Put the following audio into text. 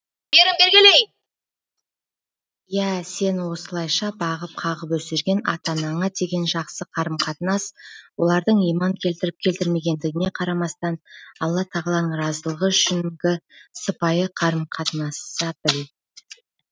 иә сені осылайша бағып қағып өсірген ата анаңа деген жақсы қарым қатынас олардың иман келтіріп келтірмегендігіне қарамастан алла тағаланың разылы үшінгі сыпайы қарым қатынаса біл